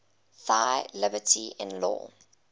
thy liberty in law